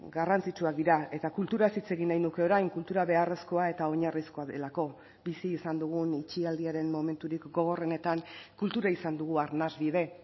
garrantzitsuak dira eta kulturaz hitz egin nahi nuke orain kultura beharrezkoa eta oinarrizkoa delako bizi izan dugun utzi aldiaren momenturik gogorrenetan kultura izan dugu arnasbide